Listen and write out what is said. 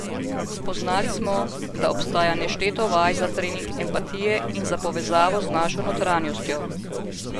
Spoznali smo, da obstaja nešteto vaj za trening empatije in za povezavo z našo notranjostjo.